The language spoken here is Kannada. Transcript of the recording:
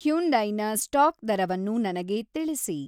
ಹ್ಯುಂಡೈನ ಸ್ಟಾಕ್ ದರವನ್ನು ನನಗೆ ತಿಳಿಸಿ